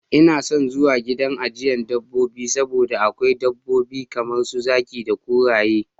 Ina son zuwa gidan ajiye dabobbi saboda akwai dabbobi kamar su zaki da kuraye.